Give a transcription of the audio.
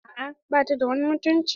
A'a bata da wani mutunci.